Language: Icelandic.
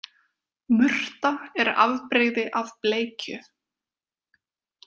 Murta er afbrigði af bleikju.